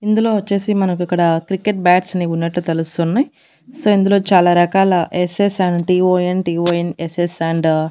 ఇందులో వచ్చేసి మనకు ఇక్కడ క్రికెట్ బ్యాట్స్ అన్ని ఉన్నట్లు తెలుస్తున్నాయి సో ఇందులో చాలా రకాల ఎస్ ఎస్ సెవెంటీ ఓ_ఎన్_టి_ఓ_ఎన్_ఎస్_ఎస్ అండ్ --